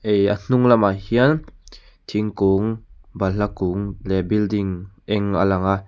ihh a hnung lamah hian thingkung balhla kung leh building eng a lang a.